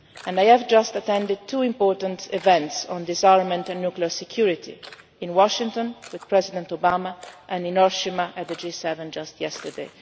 new tests. I have just attended two important events on disarmament and nuclear security in Washington with President Obama and in Hiroshima at the G7